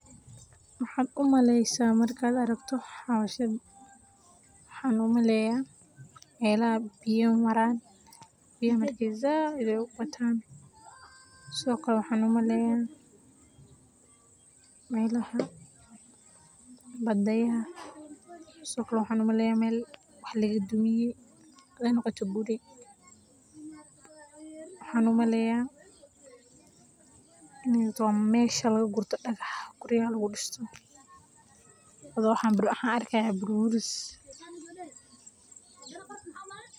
Maxaa u maleysay marka aad aragto hawshan? Waxaan u maleynayaa meelaha biyuhu maraan, biyaha marka ay aad u bataan. Sidoo kale waxaan u maleynayaa… sidoo kale waxaan maleynayaa meel waax laga duminayo ay noqoto guri. Waxaan u maleynayaa in ay tahay meesha laga gurto dhagax guryaha lagu dhisto. Sidoo kale waxaan arkayaa buur burburis.